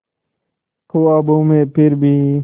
ख्वाबों में फिर भी